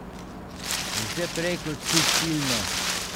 Vse prej kot subtilno.